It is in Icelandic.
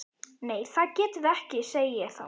Nei það getum við ekki, segi ég þá.